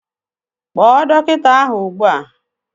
Kpọọ dọkịta ugbu a!